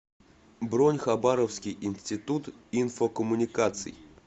бронь хабаровский институт инфокоммуникаций